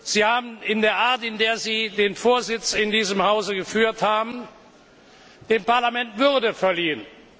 Sie haben durch die Art, in der Sie den Vorsitz in diesem Hause geführt haben, dem Parlament Würde verliehen.